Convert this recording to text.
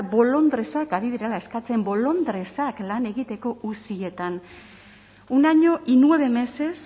bolondresak ari direla eskatzen bolondresak lan egiteko uzietan un año y nueve meses